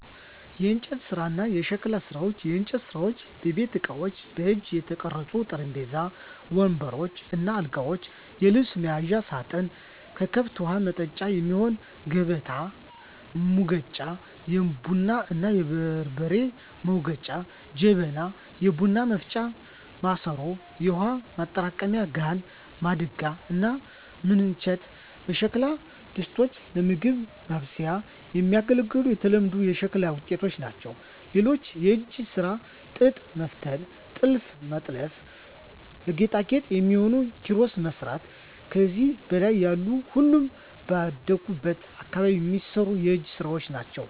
**የእንጨት ስራ እና የሸክላ ስራ፦ *የእንጨት ስራዎች * የቤት እቃዎች: በእጅ የተቀረጹ ጠረጴዛዎች፣ ወንበሮች እና አልጋዎች፣ የልብስ መያዣ ሳጥን፣ ለከብት ውሀ ማጠጫ የሚሆን ከበታ፣ ሙገጫ(የቡና እና የበርበሬ መውገጫ) ጀበና (የቡና ማፍያ ማሰሮ)፣ የውሃ ማጠራቀሚያ ጋን፣ ማድጋ እና ምንቸት የሸክላ ድስቶች ለምግብ ማብሰያ የሚያገለግሉ የተለመዱ የሸክላ ውጤቶች ናቸው። *ሌላው የእጅ ስራ ጥጥ መፍተል *ጥልፍ መጥለፍ *ለጌጣጌጥ የሚሆኑ ኪሮስ መስራት ከዚህ በላይ ያሉ ሁሉም ባደኩበት አካባቢ የሚሰሩ የእጅ ስራወች ናቸው።